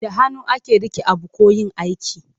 Da hannu ake rike abu ko yin aiki.